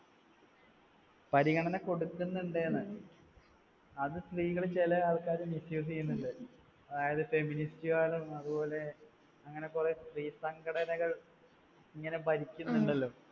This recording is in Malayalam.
പരിഗണന കൊടുക്കുന്നുണ്ട് എന്ന്. അത് സ്ത്രീകൾ ചില ആൾക്കാർ misuse യ്യുന്നുണ്ട്. അതായതു feminist കാരും അതുപോലെ അങ്ങനെ കുറെ സ്ത്രീസംഘടനകൾ ഇങ്ങനെ ഭരിക്കുന്നുണ്ടല്ലോ